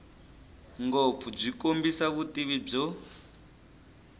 ngopfu byi kombisa vutivi byo